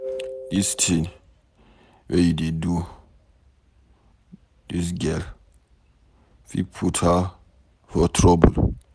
Dis thing wey you dey do dis girl fit put her for trouble